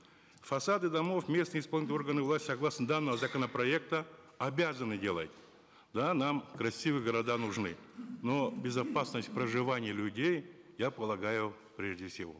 фасады домов местные исполнительные органы власти согласно данного законопроекта обязаны делать да нам красивые города нужны но безопасность проживания людей я полагаю прежде всего